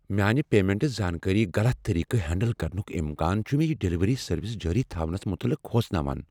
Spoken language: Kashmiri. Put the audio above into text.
میانہ پیمنٹٕچ زانکاری غلط طریقہٕ ہینڈل کرنک امکان چھ مےٚ یہ ڈلیوری سروس جٲری تھونس متعلق کھوژان۔